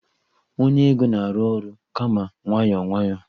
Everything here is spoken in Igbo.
onye ego na-arụ ọrụ kama nwayọọ nwayọọ